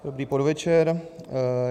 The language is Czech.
Dobrý podvečer.